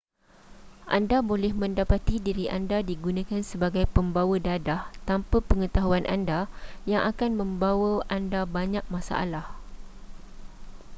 anda boleh mendapati diri anda digunakan sebagai pembawa dadah tanpa pengetahuan anda yang akan membawa anda banyak masalah